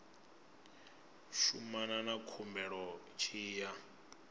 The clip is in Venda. shumana na khumbelo tshi ya